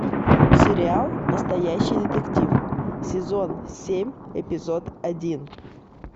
сериал настоящий детектив сезон семь эпизод один